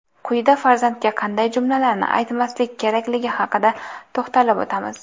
Quyida farzandga qanday jumlalarni aytmaslik kerakligi haqida to‘xtalib o‘tamiz.